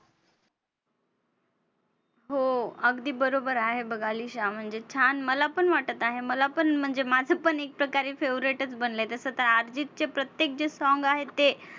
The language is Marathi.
हो, अगदी बरोबर आहे बघ अलिशा. म्हणजे छान मला पण वाटत आहे. मला पण म्हणजे माझं पण एक प्रकारे favorite च बनलंय तसं तर अर्जितचे प्रत्येक जे song आहे ते